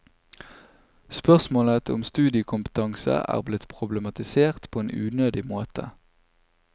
Spørsmålet om studiekompetanse er blitt problematisert på en unødig måte.